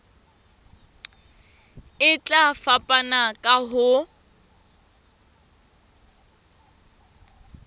e tla fapana ka ho